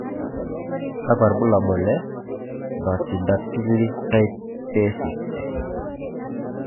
Kakwa ibulabul le Brachydactyly type A6?